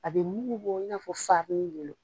A bɛ mugu bɔ i n'a fɔ b'i bolo.